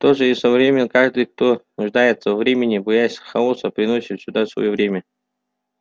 то же и со временем каждый кто нуждается во времени боясь хаоса приносит сюда своё время